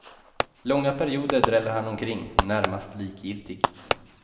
Långa perioder dräller han omkring, närmast likgiltigt.